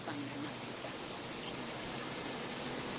o fhambanaho sa khentsa lufhia